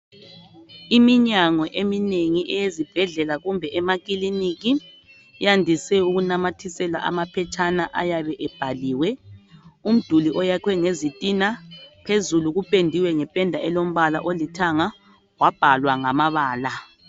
Iminyango eminengi eyezibhedlela kumbe emakiliniki yandise unakumathisela amaphetshana ayabe ebhaliwe, umduli oyakhiwe ngezitina phezulu kupendiwe ngependa elombala olithanga wabhalwa ngamabala.